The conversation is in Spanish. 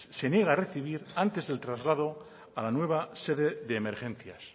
se niega a recibir antes del traslado a la nueva sede de emergencias